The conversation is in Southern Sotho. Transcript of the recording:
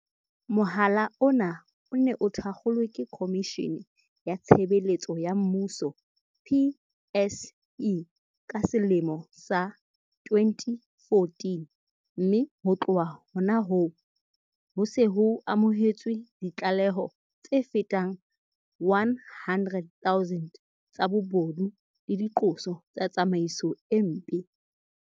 Mohala ona o ne o thakgolwe ke Khomishene ya Tshebeletso ya Mmuso, PSC, ka selemo sa 2014, mme ho tloha hona hoo, ho se ho amohetswe ditlaleho tse fetang 100 000 tsa bobodu le diqoso tsa tsamaiso e mpe.